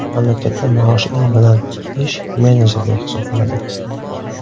Mamlakatda maoshi eng baland ish menejerlik hisoblanadi.